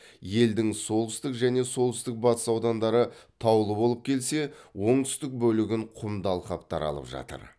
елдің солтүстік және солтүстік батыс аудандары таулы болып келсе оңтүстік бөлігін құмды алқаптар алып жатыр